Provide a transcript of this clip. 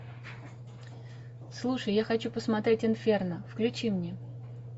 слушай я хочу посмотреть инферно включи мне